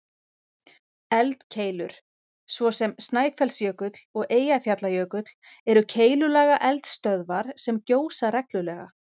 Eldkeilur, svo sem Snæfellsjökull og Eyjafjallajökull, eru keilulaga eldstöðvar sem gjósa reglulega.